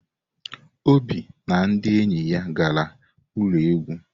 Obi na ndi enyi ya gara ulo egwu.